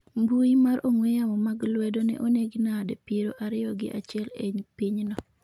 mbui mar ong'we yamo mag lwedo ne onegi nadi piero ariyo gi achiel e pinyno